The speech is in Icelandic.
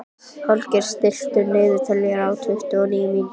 Holger, stilltu niðurteljara á tuttugu og níu mínútur.